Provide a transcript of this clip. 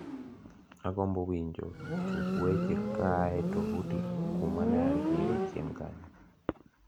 agombo wicho tuk weche kaae tovuti kuma neantiere chien kanyo